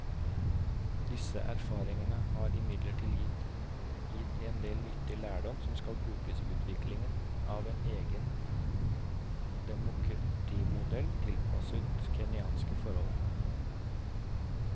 Disse erfaringene har imidlertid gitt en del nyttig lærdom som kan brukes i utviklingen av en egen demokratimodell tilpasset kenyanske forhold.